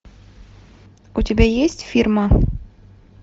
у тебя есть фирма